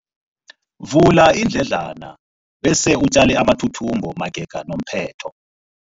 Vula iindledlana bese utjale amathuthumbo magega nomphetho.